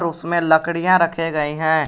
उसमें लकड़ियां रखे गए हैं।